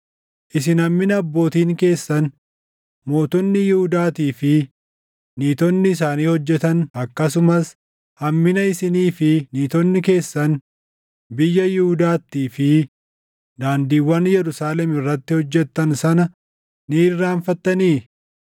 Isin hammina abbootiin keessan, mootonni Yihuudaatii fi niitonni isaanii hojjetan, akkasumas hammina isinii fi niitonni keessan biyya Yihuudaattii fi daandiiwwan Yerusaalem irratti hojjettan sana ni irraanfattanii?